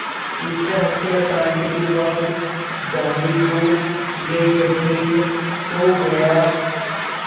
इस हत्याकांड के बाद गांधी को ये यक़ीन हो गया